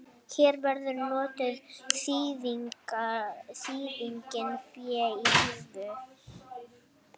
Hér verður notuð þýðingin fé í húfi.